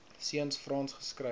seuns frans skryf